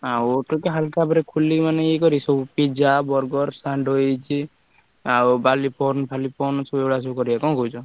ଆଉ ଗୋଟେ ମାନେ ୟେ କରି ସବୁ ପିଜା, ବରଗର, ସ୍ୟାଣ୍ଡୱିଚ ଆଉ ଏଇଗୁଡା ସବୁ କରିଆ ନା କଣ କହୁଛ?